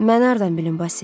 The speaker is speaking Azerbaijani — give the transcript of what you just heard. Mən hardan bilim, Basil?